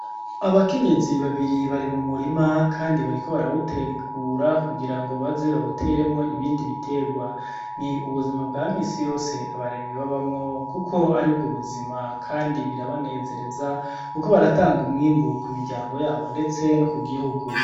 Abakenyezi babiri bari mu murima kandi bariko barawutegura kugira ngo baze bawuteremwo ibindi bitegwa. Ni ubuzima bwa minsi yose abarimyi babamwo kuko ari bwo buzima kandi birabanezereza kuko baratanga umwimbu ku miryango yabo ndetse no ku gihugu.